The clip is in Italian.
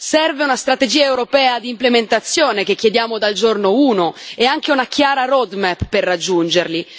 Serve una strategia europea di implementazione, che chiediamo dal giorno uno, e anche una chiara roadmap per raggiungerli.